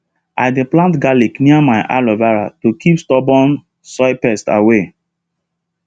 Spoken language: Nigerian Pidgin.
i dey plant garlic near my aloe vera to keep stubborn soil pests away